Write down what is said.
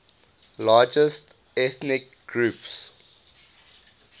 largest ethnic groups